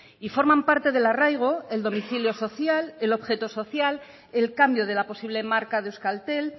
y forman parte del arraigo el domicilio social el objeto social el cambio de la posible marca de euskaltel